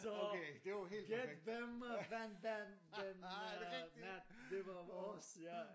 Så gæt hvem øh vandt den den øh nat det var vores ja